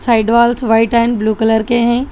Side walls white and blue colour के हैं।